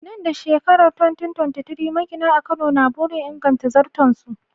Nan da shekarar 2023, magina a Kano na burin inganta zarton su.